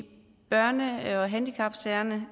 børne og handicapsagerne